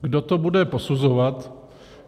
Kdo to bude posuzovat?